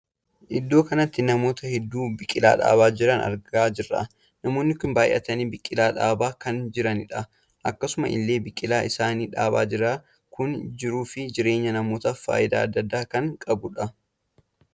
Iddoo kanatti namoota hedduu biqilaa dhaabaa jiran argaa jirra. namoonni kun baay'atanii biqilaa dhaabaa kan jiranidha. akkasuma illee biqilaa isaanii dhaabaa jiran kun jiruu fi jireenya namaatiif faayidaa addaa addaa kan qabudha.